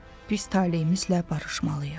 Pis taleyimizlə barışmalıyıq.